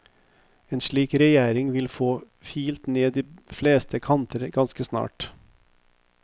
En slik regjering vil få filt ned de fleste kanter ganske raskt.